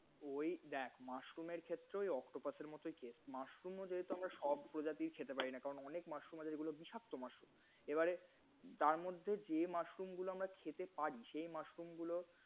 ঐ দেখ এর mushroom ক্ষেত্রেও ঐ octopus এর মতোই teste, mushroom ও যেহেতু সব প্রজাতির খেতে পারি না। কারণ অনেক mushroom আছে যেগুলো বিষাক্ত mushroom এবারে তার মধ্যে যে mushroom গুলো আমরা খেতে পারি, সেই mushroom গুলো